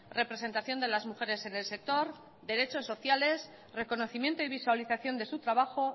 representación de las mujeres en el sector derechos sociales reconocimiento y visualización de su trabajo